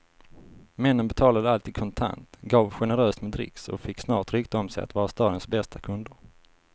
Männen betalade alltid kontant, gav generöst med dricks och fick snart rykte om sig att vara stadens bästa kunder.